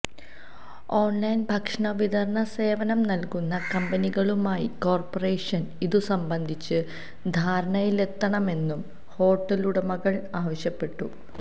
online ഭക്ഷണവിതരണ സേവനം നല്കുന്ന കമ്പനികളുമായി കോര്പ്പറേഷന് ഇതു സംബന്ധിച്ച് ധാരണയിലെത്തണമെന്നും ഹോട്ടലുടമകള് ആവശ്യപ്പെട്ടു